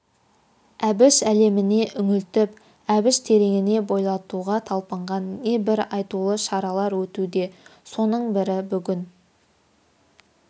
әбіш әлеміне үңілтіп әбіш тереңіне бойлатуға талпынған не бір айтулы шаралар өтуде соның бірі бүгін